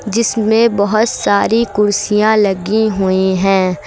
जिसमें बहुत सारी कुर्सियां लगी हुई है।